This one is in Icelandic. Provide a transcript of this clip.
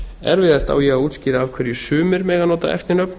erfiðast á ég að útskýra af hverju sumir mega nota eftirnöfn